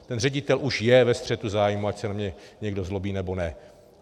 Ten ředitel už je ve střetu zájmů, ať se na mě někdo zlobí, nebo ne.